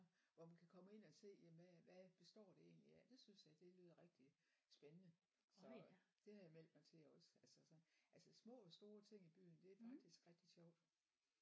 Hvor man kan komme ind og se jamen hvad hvad består det egentlig af det synes jeg det lyder rigtig spændende så det har jeg meldt mig til også altså så altså små og store ting i byen det er faktisk rigtig sjovt